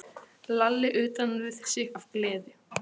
Lalli utan við sig af gleði.